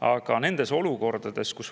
Aga